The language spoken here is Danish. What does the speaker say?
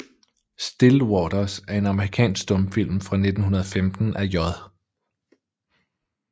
Still Waters er en amerikansk stumfilm fra 1915 af J